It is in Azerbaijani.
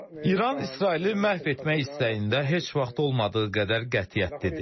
İran İsraili məhv etmək istəyində heç vaxt olmadığı qədər qətiyyətlidir.